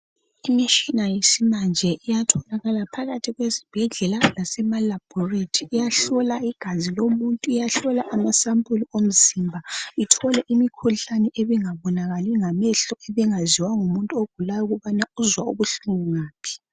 Imishina yesimanje iyatholakala phakathi kwesibhedlela lasema laboratory iyahlola igazi lomuntu ahlola amasampuli emzimba ithole imikhuhlane engabonakaliyo ngamehlo ebingaziwa ngumuntu ogulayo ukubana uzwa ubuhlungu ngaphi.